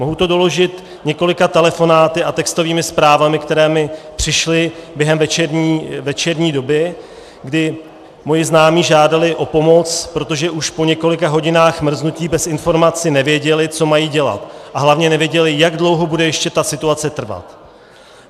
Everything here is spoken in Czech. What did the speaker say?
Mohu to doložit několika telefonáty a textovými zprávami, které mi přišly během večerní doby, kdy moji známí žádali o pomoc, protože už po několika hodinách mrznutí bez informací nevěděli, co mají dělat, a hlavně nevěděli, jak dlouho bude ještě ta situace trvat.